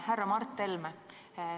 Härra Mart Helme!